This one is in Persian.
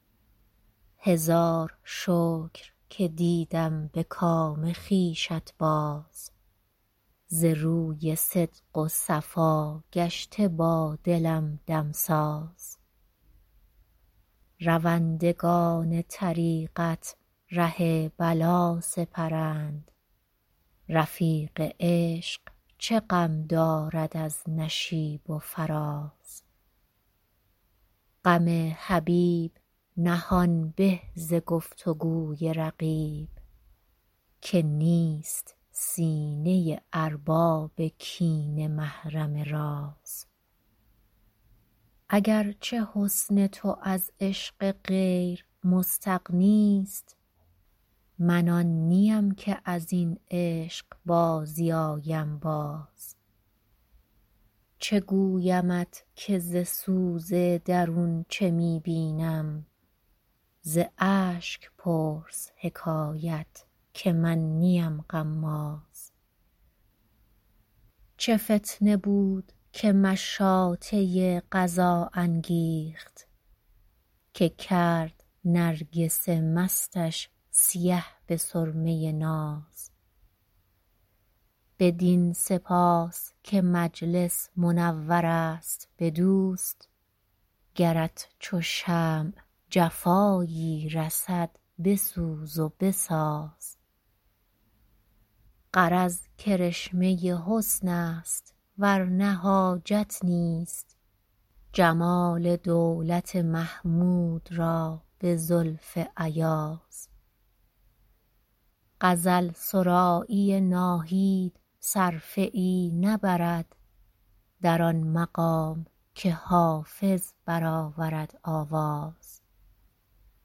هزار شکر که دیدم به کام خویشت باز ز روی صدق و صفا گشته با دلم دمساز روندگان طریقت ره بلا سپرند رفیق عشق چه غم دارد از نشیب و فراز غم حبیب نهان به ز گفت و گوی رقیب که نیست سینه ارباب کینه محرم راز اگر چه حسن تو از عشق غیر مستغنی ست من آن نیم که از این عشق بازی آیم باز چه گویمت که ز سوز درون چه می بینم ز اشک پرس حکایت که من نیم غماز چه فتنه بود که مشاطه قضا انگیخت که کرد نرگس مستش سیه به سرمه ناز بدین سپاس که مجلس منور است به دوست گرت چو شمع جفایی رسد بسوز و بساز غرض کرشمه حسن است ور نه حاجت نیست جمال دولت محمود را به زلف ایاز غزل سرایی ناهید صرفه ای نبرد در آن مقام که حافظ برآورد آواز